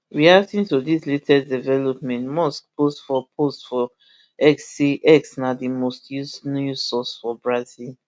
reacting to dis latest development musk post for post for x say x na di most used news source for brazil